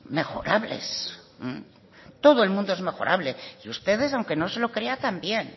mejorables todo el mundo es mejorable y ustedes aunque no se lo crea también